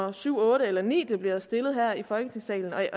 er syvende ottende eller niende bliver stillet her i folketingssalen at